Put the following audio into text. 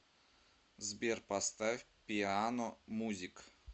сбер поставь пиано музик